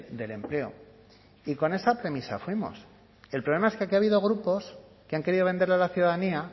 del empleo y con esa premisa fuimos el problema es que aquí ha habido grupos que han querido venderle a la ciudadanía